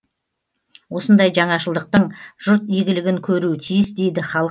осындай жаңашылдықтың жұрт игілігін көруі тиіс дейді халық қалаулылары